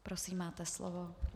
Prosím, máte slovo.